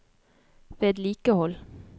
vedlikehold